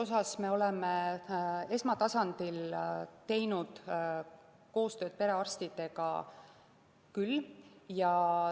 Jah, siin me oleme esmatasandil teinud koostööd perearstidega küll.